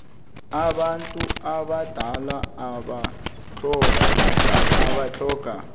abantu abadala abatlhoga